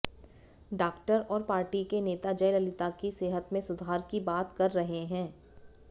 doctor और party के नेता जयललिता की सेहत में सुधार की बात कह रहे हैं